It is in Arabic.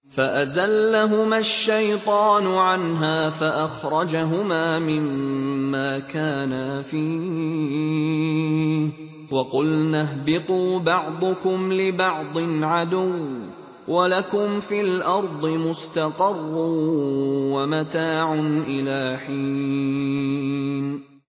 فَأَزَلَّهُمَا الشَّيْطَانُ عَنْهَا فَأَخْرَجَهُمَا مِمَّا كَانَا فِيهِ ۖ وَقُلْنَا اهْبِطُوا بَعْضُكُمْ لِبَعْضٍ عَدُوٌّ ۖ وَلَكُمْ فِي الْأَرْضِ مُسْتَقَرٌّ وَمَتَاعٌ إِلَىٰ حِينٍ